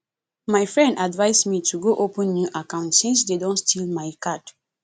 my friend advice me to go open new account since dey don steal my card